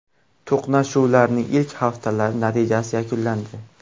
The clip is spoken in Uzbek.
To‘qnashuvlarning ilk haftalari natijasiz yakunlandi.